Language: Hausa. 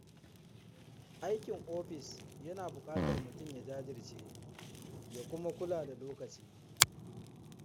Aikin ofis yana buƙatar mutum ya jajirce ya kuma kula da lokaci.